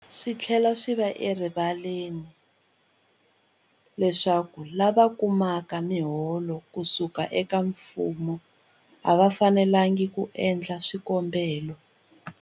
Swi tlhela swi va erivaleni leswaku lava kumaka miholo ku suka eka mfumo a va fanelanga ku endla swikombelo.